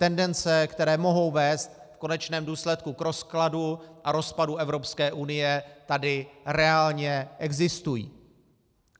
Tendence, které mohou vést v konečném důsledku k rozkladu a rozpadu Evropské unie, tady reálně existují.